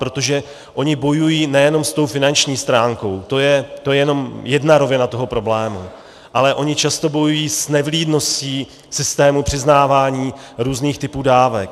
Protože oni bojují nejenom s tou finanční stránkou, to je jenom jedna rovina toho problému, ale oni často bojují s nevlídností systému přiznávání různých typů dávek.